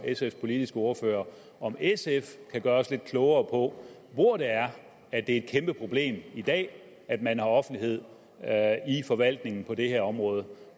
sfs politiske ordfører om sf kan gøre os lidt klogere på hvor det er at det er et kæmpeproblem i dag at man har offentlighed i forvaltningen på det her område